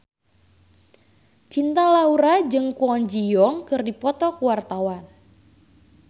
Cinta Laura jeung Kwon Ji Yong keur dipoto ku wartawan